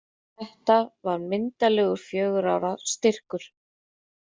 Þetta var myndarlegur fjögurra ára styrkur.